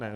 Ne.